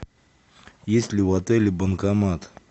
есть ли у отеля банкомат